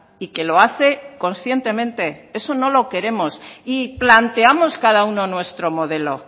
y que lo hace conscientemente eso no lo queremos y planteamos cada uno nuestro modelo